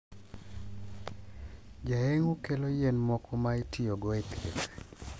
Jayeng`o kelo yien moko ma itiyogo e thieth.